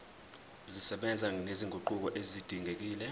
zisebenza nezinguquko ezidingekile